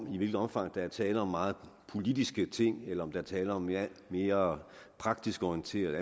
i hvilket omfang der er tale om meget politiske ting eller tale om mere mere praktisk orienterede